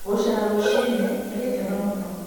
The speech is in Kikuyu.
Gũcera rũciinĩ nĩ gĩkeno mũno